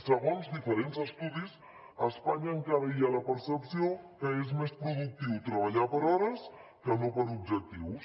segons diferents estudis a espanya encara hi ha la percepció que és més productiu treballar per hores que no per objectius